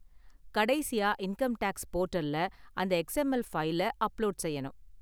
கடைசியா income tax போர்டல்ல அந்த எக்ஸ்எம்எல் ஃபைல அப்லோடு செய்யணும்.